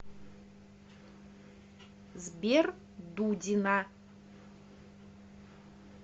сбер дудина